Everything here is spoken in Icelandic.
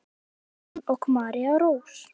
Hannes Aron og María Rós.